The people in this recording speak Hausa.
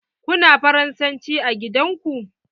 Kuna faransanci a gidan ku?